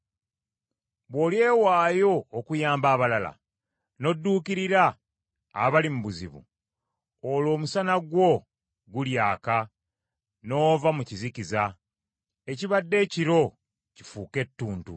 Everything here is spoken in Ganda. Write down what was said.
bw’olyewaayo okuyamba abayala n’odduukirira abali mu buzibu, olwo omusana gwo gulyaka n’ova mu kizikiza, ekibadde ekiro kifuuke ettuntu.